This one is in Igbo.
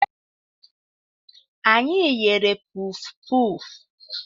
Anyị ghere pufupufu